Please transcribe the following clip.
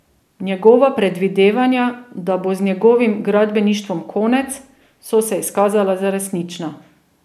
Njegova predvidevanja, da bo z njegovim gradbeništvom konec, so se izkazala za resnična.